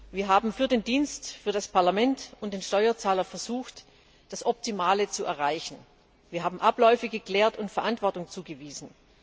Wir haben versucht, für den Dienst, für das Parlament und den Steuerzahler das Optimale zu erreichen. Wir haben Abläufe geklärt und Verantwortung zugewiesen.